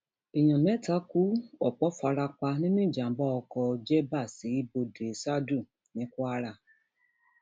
èèyàn mẹta kú ọpọ fara pa nínú ìjàgbá oko jegba sí bọdẹṣádù ní kwara